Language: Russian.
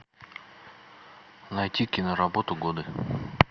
найти киноработу годы